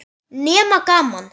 Nema gaman.